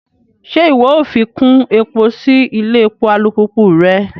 Ṣe iwọ o ṣafikun epo si ilé èpò alupupu rẹ?